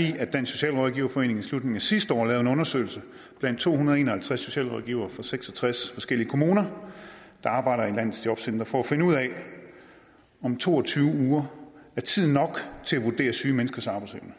i at dansk socialrådgiverforening i slutningen af sidste år lavede en undersøgelse blandt to hundrede og en og halvtreds socialrådgivere fra seks og tres forskellige kommuner der arbejder i landets jobcentre for at finde ud af om to og tyve uger er tid nok til at vurdere syge menneskers arbejdsevne